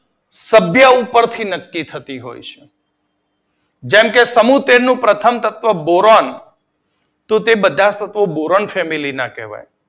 સભ્ય ઉપરથી નક્કી થતી હોય છે. સમૂહ તેર નું પ્રથમ સભ્ય બોરોન તો તે બધા તત્વો બોરોન ફેમિલી ના કહેવાય.